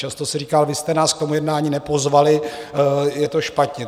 Často se říká: Vy jste nás k tomu jednání nepozvali, je to špatně.